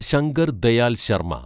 Shankar Dayal Sharma